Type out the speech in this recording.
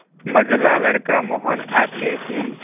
मंझला लड़का मोहन आते ही